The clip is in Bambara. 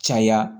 Caya